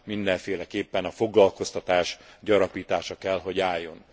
mindenféleképpen a foglalkoztatás gyarapítása kell, hogy álljon.